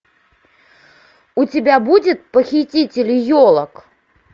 у тебя будет похититель елок